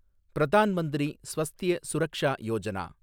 Pradhan Mantri Swasthya Suraksha Yojana